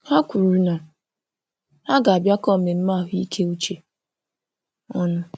Ha kwuru na ha ga- bịa kọ mmemme ahụ ike uche ọnụ